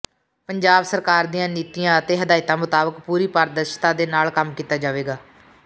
ਪੰਜਾਬ ਸਰਕਾਰ ਦੀਆਂ ਨੀਤੀਆਂ ਅਤੇ ਹਿਦਾਇਤਾਂ ਮੁਤਾਬਿਕ ਪੂਰੀ ਪਾਰਦਰਸ਼ਤਾ ਦੇ ਨਾਲ ਕੰਮ ਕੀਤਾ ਜਾਵੇਗਾ